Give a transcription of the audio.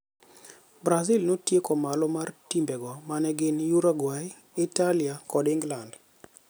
Brazil notieko malo mar timbe go mane gin Uruguay, Italia, kod Ingland.